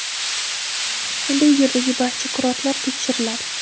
endi u yerdagi barcha kurortlar tekshiriladi.